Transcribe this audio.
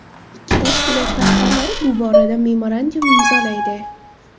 Ikki tashkilot rahbarlari bu borada memorandum imzolaydi.